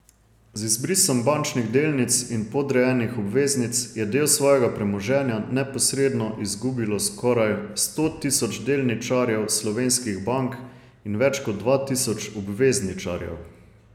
Z izbrisom bančnih delnic in podrejenih obveznic je del svojega premoženja neposredno izgubilo skoraj sto tisoč delničarjev slovenskih bank in več kot dva tisoč obvezničarjev.